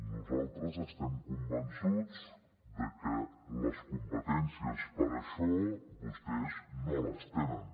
nosaltres estem convençuts de que les competències per a això vostès no les tenen